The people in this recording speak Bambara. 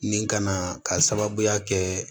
Nin kana k'a sababuya kɛ